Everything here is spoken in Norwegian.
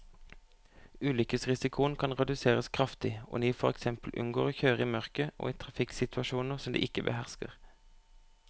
Ulykkesrisikoen kan reduseres kraftig om de for eksempel unngår å kjøre i mørket og i trafikksituasjoner som de ikke behersker.